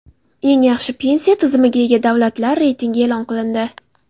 Eng yaxshi pensiya tizimiga ega davlatlar reytingi e’lon qilindi.